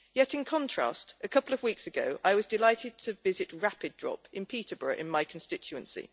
In contrast, a couple of weeks ago I was delighted to visit Rapid Drop in Peterborough in my constituency.